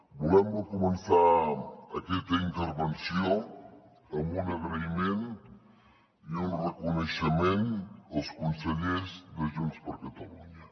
volem començar aquesta intervenció amb un agraïment i un reconeixement als consellers de junts per catalunya